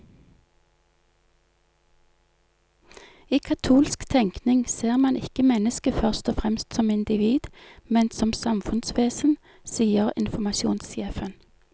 I katolsk tenkning ser man ikke mennesket først og fremst som individ, men som samfunnsvesen, sier informasjonssjefen.